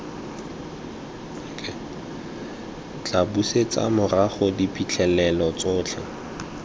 tla busetsa morago diphitlhelelo tsotlhe